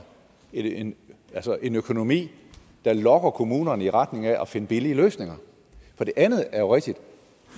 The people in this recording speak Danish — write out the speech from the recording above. en en økonomi der lokker kommunerne i retning af at finde billige løsninger for det andet er jo rigtigt